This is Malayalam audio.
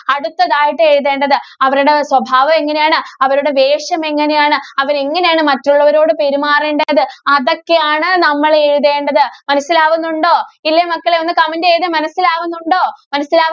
അടുത്തതായിട്ട് എഴുതേണ്ടത്. അവരുടെ സ്വഭാവം എങ്ങനെയാണ്? അവരുടെ വേഷം എങ്ങനെയാണ്? അവര് എങ്ങനെയാണ് മറ്റുള്ളവരോട് പെരുമാറേണ്ടത് അതൊക്കെയാണ്‌ നമ്മള് എഴുതേണ്ടത്. മനസ്സിലാവുന്നുണ്ടോ? ഇല്ലേ മക്കളേ, ഒന്ന് comment ചെയ്തേ മനസ്സിലാവുന്നുണ്ടോ? മനസ്സിലാ~